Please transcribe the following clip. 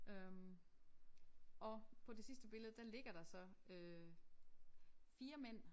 Øh og på det sidste billede der ligger der så øh 4 mænd